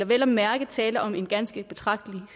vel at mærke tale om en ganske betragtelig